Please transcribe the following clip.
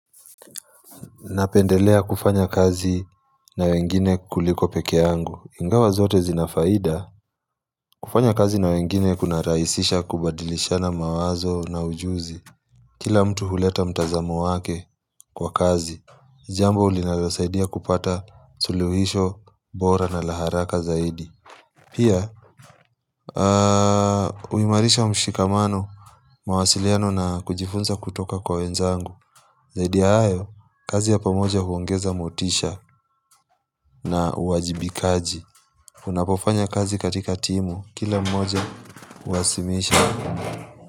Napendelea kufanya kazi na wengine kuliko peke yangu. Ingawa zote zina faida. Kufanya kazi na wengine kuna rahisisha kubadilishana mawazo na ujuzi Kila mtu huleta mtazamo wake kwa kazi Jambo linalosaidia kupata suluhisho bora na la haraka zaidi Pia huimarisha mshikamano mawasiliano na kujifunza kutoka kwa wenzangu Zaidi ya hayo, kazi ya pamoja huongeza motisha na uwajibikaji Unapofanya kazi katika timu, kila mmoja huwasimisha.